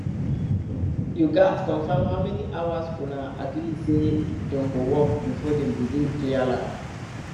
you gats confirm how many hours una agree say dem go work before dem begin clear land